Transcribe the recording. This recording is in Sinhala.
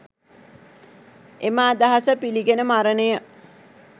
එම අදහස පිළිගෙන මරණය